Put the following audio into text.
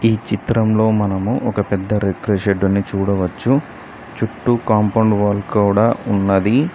ఈ చిత్రంలో మనము ఒక పెద్ద రిక్రిషెడ్ ని కూడా చూడవచ్చు చుట్టూ కాంపౌండ్ వాల్ కూడా ఉన్నది.